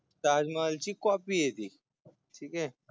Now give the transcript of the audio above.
ताजमहलची COPY य ती ठिकयं